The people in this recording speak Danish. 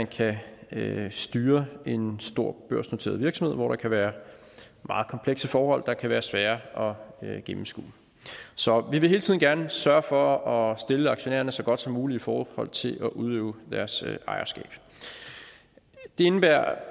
kan styre en stor børsnoteret virksomhed hvor der kan være meget komplekse forhold der kan være svære at gennemskue så vi vil hele tiden gerne sørge for at stille aktionærerne så godt som muligt i forhold til at kunne udøve deres ejerskab det indebærer